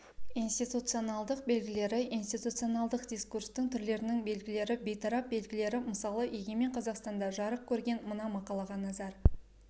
институционалдықтың белгілері институционалдық дискурстың түрлерінің белгілері бейтарап белгілер мысалы егемен қазақстанда жарық көрген мына мақалаға назар